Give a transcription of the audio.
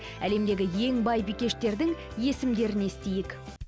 әлемдегі ең бай бикештердің есімдерін естиік